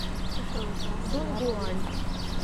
дунгуань